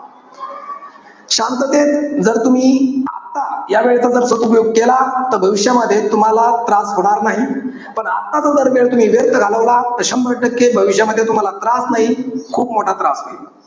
शांततेत जर तुम्ही आता या वेळेचा जर सदुपयोग केला. तर भविष्यामध्ये तुम्हाला, त्रास होणार नाही. पण, आताचा जर वेळ तुम्ही व्यर्थ घालवला तर शंभर टक्के, भविष्यामध्ये तुम्हाला त्रास नाही, खूप मोठा त्रास होईल.